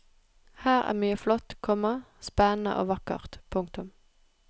Her er mye flott, komma spennende og vakkert. punktum